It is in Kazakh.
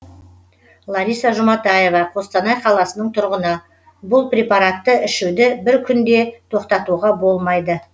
лариса жұматаева қостанай қаласының тұрғыны бұл препаратты ішуді бір күн де тоқтатуға болмайды